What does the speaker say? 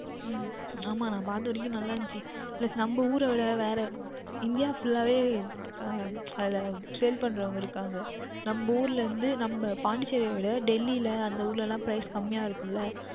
உம் ஆமாம் நான் பார்த்த வரைக்கும் நன்றாக இருந்தது Plus நம்ம ஊரைவிட வேறு India Full கவே அஹ் அதில் Sale பண்ணுகின்றவர்கள் இருக்கின்றார்கள் நம்ம ஊரில் இருந்து நம்ம Pondicherry விட Delhi எல்லாம் அந்த ஊரில் எல்லாம் Price குறைவாக இருக்கும் அல்லவா